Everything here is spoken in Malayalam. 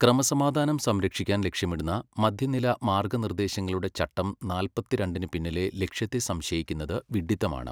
ക്രമസമാധാനം സംരക്ഷിക്കാന് ലക്ഷ്യമിടുന്ന മധ്യനില മാര്ഗ്ഗനിര്ദ്ദേശങ്ങളുടെ ചട്ടം നാല്പത്തിരണ്ടിന് പിന്നിലെ ലക്ഷ്യത്തെ സംശയിക്കുന്നത് വിഡ്ഡിത്തമാണ്.